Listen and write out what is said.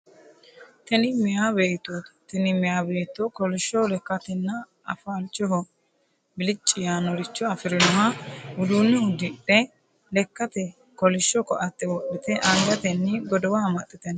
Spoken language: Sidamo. Tini meea beettooti, tini meeya beetto kolishsho lekkatenna afalchoho bilicci yaannoricho afirinoha uduunne uddidhe lekkate kolishsho koatte wodhite angatenni godowa amaxxite no.